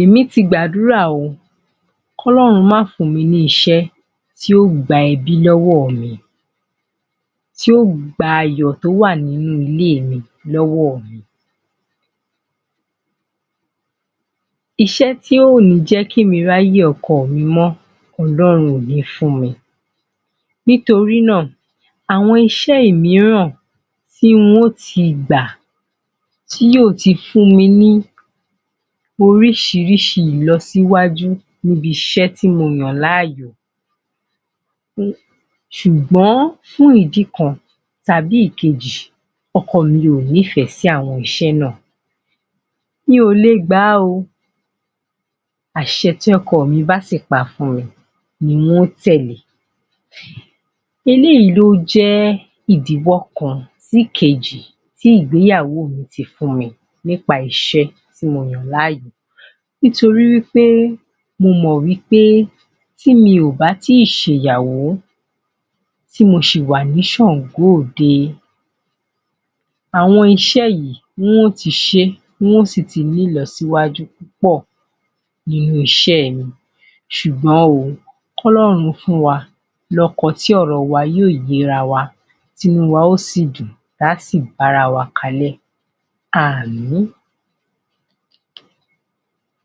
Èmí ti gbàdúrà o ,kỌ́lọ́run má fún mi ni iṣẹ́ tí yóò gba ẹbí lówó mi, tí yóò gba ayò tó wà nínú ilé mi lọ́wọ́ mi. Iṣẹ́ tí ò ní jẹ́ kí mi ráyè ọkọ mi mọ́, Ọlọ́run ò ní fún mi. Nítorí náà, àwọn iṣẹ́ òmíràn tí n ó ti gbà tí yóò ti fún mi ní oríṣiríṣi ìlọsíwájú níbi iṣẹ́ tí mo yàn láàyò hmmm ṣùgbón fún ìdí kan tàbí ìkejì ọkọ mi ò nífẹ̀ẹ́ sí àwọn iṣẹ́ náà. Mi ò lè gbà á o. Àṣẹ tí ọkọ mi bá sì pa ni n ó tẹ̀lé. Eléyìí ni ó jẹ́ ìdíwọ́ kan sí ìkejì tí ìgbéyàwó mi ti fún mi nípa iṣẹ́ tí mo yàn láàyò. Nítorí wípé, mo mọ̀ wípé tí mi ò bá tíì ṣẹ̀yàwó, tí mo ṣì wà ní ṣàngó òde. Àwọn iṣẹ́ yìí, ń ó ti sé,n ó sì ti ní ìlọsíwájú pọ̀ nínú iṣẹ́ mi sùgbón o, K'ọlọrun fún wa lọ́kọ tí ọ̀rọ wa yóò yérawa tí inú wa ó sì dùn táà sì bárawa kalẹ́ .Aamin